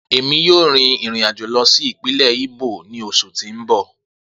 Emi yoo rin irin ajo lọ si ipinlẹ Imo ni oṣu ti n bọ.